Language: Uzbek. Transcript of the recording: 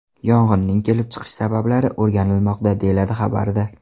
Yong‘inning kelib chiqish sabablari o‘rganilmoqda, deyiladi xabarda.